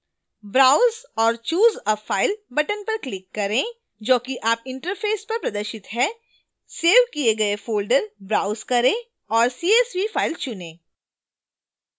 browse/choose a file button पर click करें जो कि आपके इंटरफैश पर प्रदर्शित है csv किए गए folder browse करें और csv file चुनें